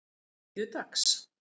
þriðjudags